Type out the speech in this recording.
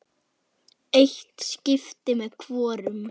Eitt skipti með hvorum.